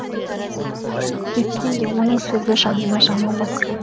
сол себептен де оның сөзі жанына жаман батқан